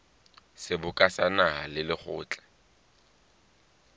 seboka sa naha le lekgotla